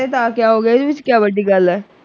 ਫੇਰ ਤਾਂ ਕਿਆ ਹੋਗਿਆ ਇਹਦੇ ਵਿੱਚ ਕਿਆ ਵੱਡੀ ਗੱਲ ਹੈ।